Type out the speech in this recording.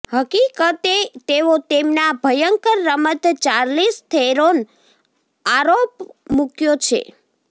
હકીકતે તેઓ તેમના ભયંકર રમત ચાર્લીઝ થેરોન આરોપ મૂક્યો છે